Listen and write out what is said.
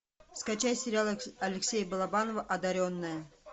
скачай сериал алексея балабанова одаренная